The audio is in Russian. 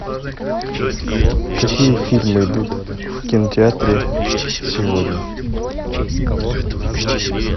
какие фильмы идут в кинотеатре сегодня